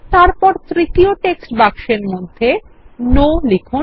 তারপরতৃতীয় text বাক্সের মধ্যে Noলিখুন